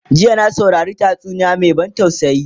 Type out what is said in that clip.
jiya na saurari tatsuniya Mai ban tausayi